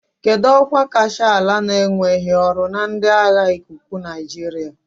Kedu ọkwa kacha ala na-enweghị ọrụ na ndị agha ikuku Nigeria.